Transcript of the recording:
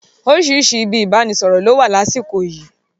Orísìírísìí ibi ìbánisọ̀rọ̀ ló wà lásìkò yii